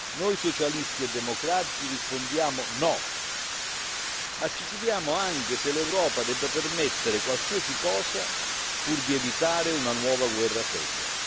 Noi socialisti e democratici rispondiamo no, ma ci chiediamo anche se l'Europa debba permettere qualsiasi cosa pur di evitare una nuova guerra fredda.